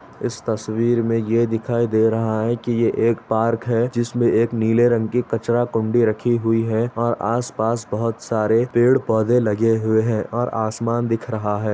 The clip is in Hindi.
इस तस्वीर मे ये दिखाई दे रहा है कि ये एक पार्क है जिसमे एक नीले रंग की कचरा कुंडी रखी हुई हैं और आस- पास बहुत सारे पेड़ पौधे लगे हुए हैं और आसमान दिख रहा है।